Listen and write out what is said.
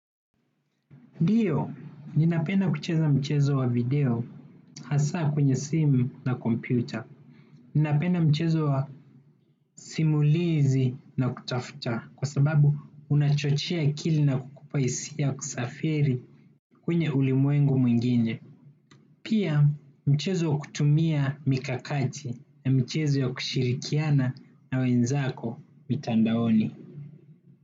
Ndio, ninapenda kucheza mchezo wa video hasa kwenye simu na kompyuta. Ninapenda mchezo wa simulizi na kutafuta kwa sababu unachochea akili na kukupa hisia ya kusafiri kwenye ulimwengu mwingine. Pia mchezo wa kutumia mikakati na michezo ya kushirikiana na wenzako mitandaoni.